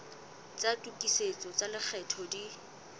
tsa tokisetso tsa lekgetho di